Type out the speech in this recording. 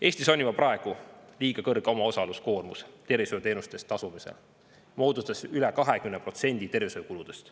Eestis on juba praegu liiga kõrge omaosaluskoormus tervishoiuteenuste eest tasumisel, see moodustab üle 20% tervishoiukuludest.